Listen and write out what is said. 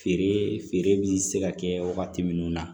Feere feere bɛ se ka kɛ wagati minnu na